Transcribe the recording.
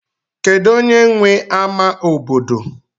kedu onye nwe ama obodo